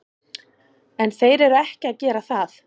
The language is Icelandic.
En þeir eru ekki að gera það.